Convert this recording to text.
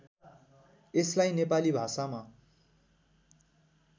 यसलाई नेपाली भाषामा